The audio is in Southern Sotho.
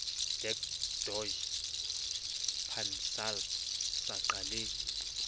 dac doj pansalb saqa le